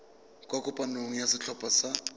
kwa kopanong ya setlhopha sa